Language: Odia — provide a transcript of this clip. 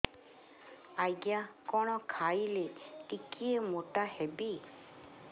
ଆଜ୍ଞା କଣ୍ ଖାଇଲେ ଟିକିଏ ମୋଟା ହେବି